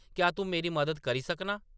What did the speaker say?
क्या‌ तूं मेरी मदद करी सकनां ?”